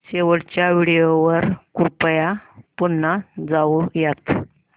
शेवटच्या व्हिडिओ वर कृपया पुन्हा जाऊयात